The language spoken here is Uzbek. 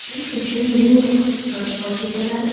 Men uchun Minox soch vositalari!